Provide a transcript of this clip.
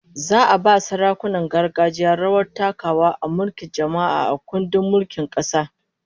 Za'a ba sarakunan gargajiya rawar takawa a mulkin jama'a, a kundin mulkin kasa